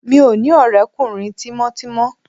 Mi ò ní ọ̀rẹ́kùnrin tímọ́tímọ́